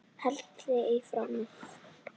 Hellið í formið.